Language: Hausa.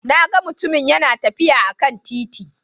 Na gan mutumun yana tafiya a kan titi